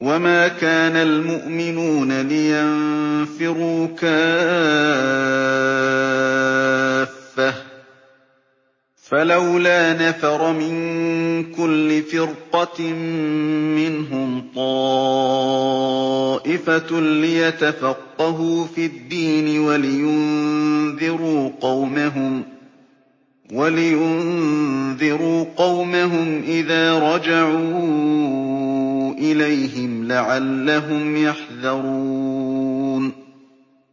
۞ وَمَا كَانَ الْمُؤْمِنُونَ لِيَنفِرُوا كَافَّةً ۚ فَلَوْلَا نَفَرَ مِن كُلِّ فِرْقَةٍ مِّنْهُمْ طَائِفَةٌ لِّيَتَفَقَّهُوا فِي الدِّينِ وَلِيُنذِرُوا قَوْمَهُمْ إِذَا رَجَعُوا إِلَيْهِمْ لَعَلَّهُمْ يَحْذَرُونَ